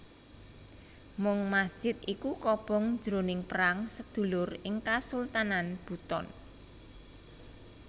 Mung masjid iku kobong jroning perang sedulur ing Kasultanan Buton